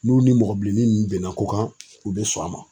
N'u ni mɔgɔ bilennin nunnu bɛnna ko kan, u be sɔn a ma.